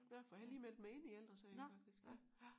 Nåh for jeg har lige meldt mig ind i Ældre Sagen faktisk ja